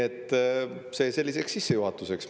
See on selliseks sissejuhatuseks.